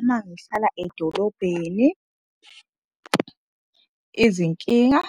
Uma ngihlala edolobheni izinkinga